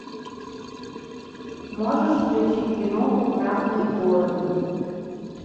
можешь включить киноху красные горы